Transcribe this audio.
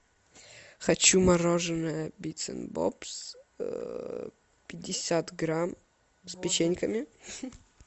хочу мороженое бицен бобс пятьдесят грамм с печеньками